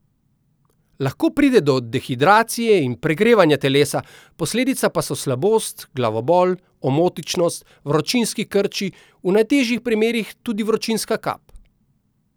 Lahko pride do dehidracije in pregrevanja telesa, posledica pa so slabost, glavobol, omotičnost, vročinski krči, v najtežjih primerih tudi vročinska kap.